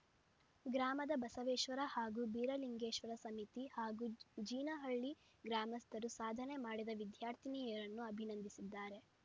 ಗ್ರಾಮದ ಬಸವೇಶ್ವರ ಹಾಗೂ ಬೀರಲಿಂಗೇಶ್ವರ ಸಮಿತಿ ಹಾಗೂ ಜಿ ಜೀನಹಳ್ಳಿ ಗ್ರಾಮಸ್ಥರು ಸಾಧನೆ ಮಾಡಿದ ವಿದ್ಯಾರ್ಥಿನಿಯರನ್ನು ಅಭಿನಂದಿಸಿದ್ದಾರೆ